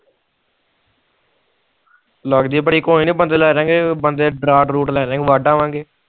ਲੱਗਜੇ ਬੜੀ ਕੋਇਨੀ ਬੰਦੇ ਲੈ ਜਾ ਗਏ ਬੰਦੇ ਲੈ ਜਾ ਗਏ ਵਡ ਆਵਾਂਗੇ